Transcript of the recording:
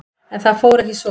En það fór ekki svo.